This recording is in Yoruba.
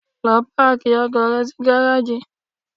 Lọ páàkì ọkọ̀ rẹ sí gáráàjì!